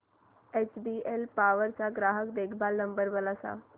HBL Power चा ग्राहक देखभाल नंबर मला सांगा